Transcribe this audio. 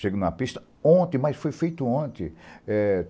Cheguei na pista ontem, mas foi feito ontem.